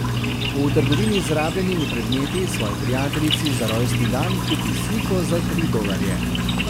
V trgovini z rabljenimi predmeti svoji prijateljici za rojstni dan kupi sliko za tri dolarje.